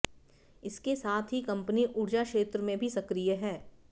इसके साथ ही कंपनी ऊर्जा क्षेत्र में भी सक्रिय है